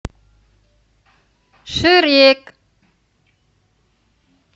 шрек